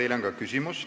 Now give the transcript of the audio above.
Teile on ka küsimus.